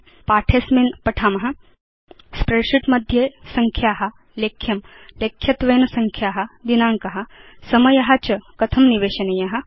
अस्मिन पाठे वयं पठाम स्प्रेडशीट् मध्ये संख्या लेख्यं लेख्यत्वेन संख्या दिनाङ्क समय च कथं निवेशनीय